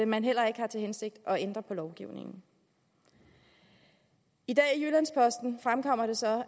man heller ikke havde til hensigt at ændre på lovgivningen i dag fremkommer det så